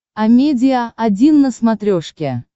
амедиа один на смотрешке